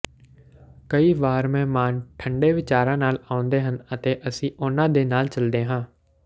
ਕਈ ਵਾਰ ਮਹਿਮਾਨ ਠੰਢੇ ਵਿਚਾਰਾਂ ਨਾਲ ਆਉਂਦੇ ਹਨ ਅਤੇ ਅਸੀਂ ਉਹਨਾਂ ਦੇ ਨਾਲ ਚੱਲਦੇ ਹਾਂ